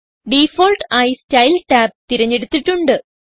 default ആയി style tab തിരഞ്ഞെടുത്തിട്ടുണ്ട്